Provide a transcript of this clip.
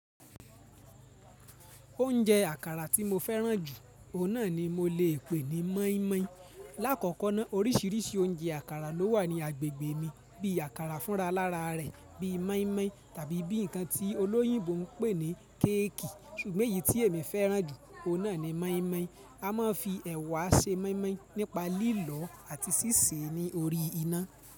Oúnjẹ àkàrà tí mo fẹ́ràn jù, òun náà ni mo le pè ní moimoi. Láàkọ́kọ́ náà oríṣìíríṣìí oúnjẹ àkàrà ló wà ní agbègbè mi bí i àkàrà fúnra lára rẹ̀ bí i moimoi tàbí bí i ǹkan tí olóyìnbó ń pè ní kéèkì. Ṣùgbọ́n èyí tí èmi fẹ́ràn jù, òun náà ni moimoi. A máa ń fi ẹ̀wà ṣe moimoi nípa lílọ àti síse ní orí iná.